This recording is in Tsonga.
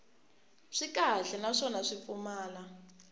swi kahle naswona swi pfumala